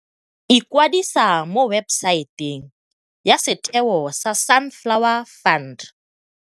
ikwadisa mo webesaeteng ya setheo sa Sunflower Fund.